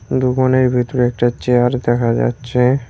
দুকানের ভিতরে একটা চেয়ার দেখা যাচ্ছে।